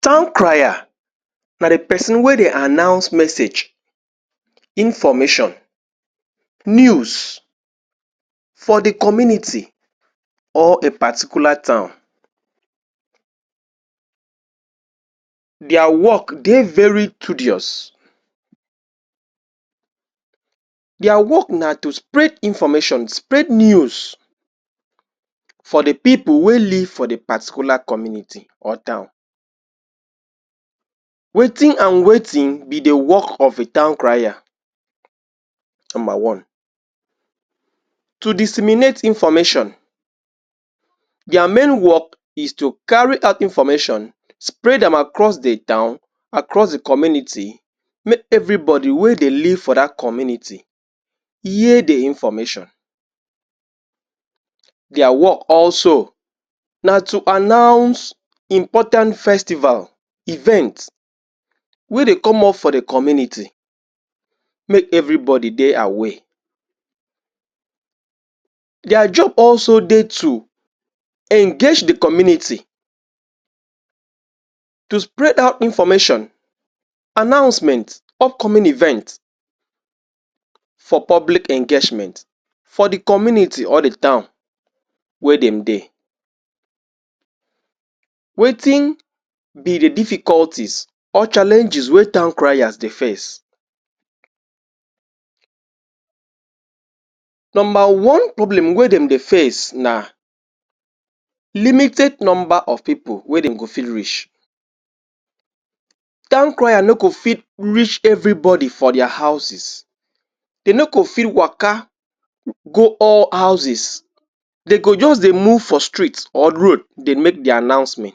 Town crier na the person wey dey announce message, information, news, for the community or a particular town their work dey very tedious their work na to spread information, spread news for the peolpe wey live for the particular community or town wetin and wetin be the work of a town crier? number one to disseminate information their main work is to carry out information, spread am across the town across the community make everybody wey dey live for that community hear the information their work also, na to announce important festival, event wey dey come up for the community make everybody dey aware their job also dey to engage the community to spread out information, announcement, upcoming event for public engasjement for the community or the town where dem dey wetin be the difficulties or challenges wey town criers dey face? number one problem wey dem dey face na limited number of people wey dem go fi reach town crier no go fit reach everybody for their houses they no go fi waka go all houses they go just dey move for street or road dey make their announces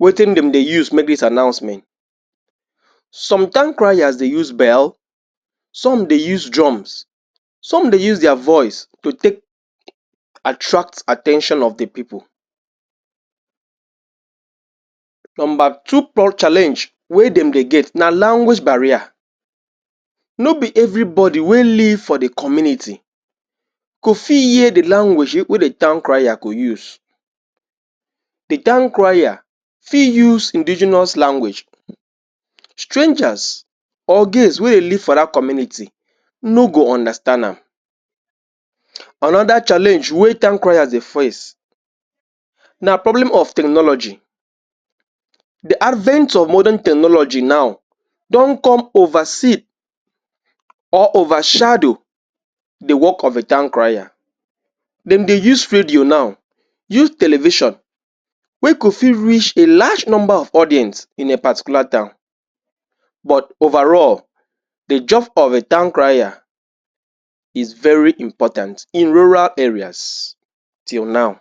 wetin dem dey use make this announcement? some town criers dey use bell, some dey use drums some dey use their voice to take attract at ten tion of the people number two prob challenge wey dem dey get na language barrier no be everybody wey live for the community go fi hear the language wey the town crier go use the town crier fi use indigenous language strangers or gays wey dey live for that community no go understand am another challenge wey town criers dey face na problem of tehnology the advance of modern technology now don come oversee or overshadow the work of a town crier dem dey use radio now use television wey go fi reach a large number of audience in a particular town but overall the job of a town crier is very important in rural areas till now